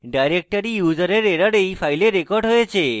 directory user error error এই file record হয়েছে